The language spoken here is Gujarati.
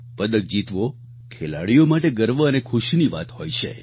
પદક જીતવો ખેલાડીઓ માટે ગર્વ અને ખુશીની વાત હોય છે